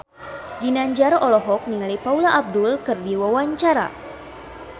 Ginanjar olohok ningali Paula Abdul keur diwawancara